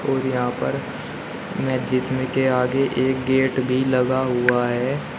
और यहां पर मस्जिद में के आगे एक गेट भी लगा हुआ है।